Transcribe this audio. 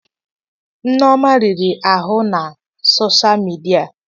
Nneoma riri ahụ na sọsha midia.